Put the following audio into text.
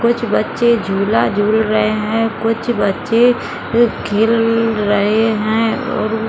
कुछ बच्चे झूला झूल रहे हैं। कुछ बच्चे खेल रहे हैं और --